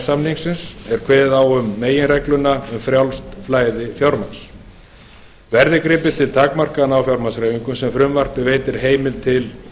samningsins er kveðið á um meginregluna um frjálst flæði fjármagns verði gripið til takmarkana á fjármagnshreyfingum sem frumvarpið veitir heimild til